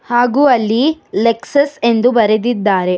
ಹಾಗು ಅಲ್ಲಿ ಲೆಕ್ಸಸ್ ಎಂದು ಬರೆದಿದ್ದಾರೆ.